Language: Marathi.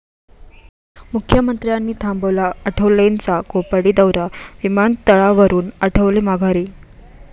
मुख्यमंत्र्यांनी थांबवला आठवलेंचा कोपर्डी दाैरा, विमानतळावरुन आठवले माघारी